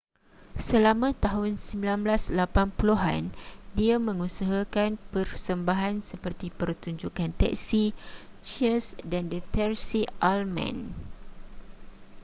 selama tahun 1980 an dia mengusahakan persembahan seperti pertunjukkan teksi cheers dan the tracey ullman